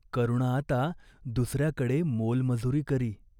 करुणा आता दुस याकडे मोलमजूरी करी.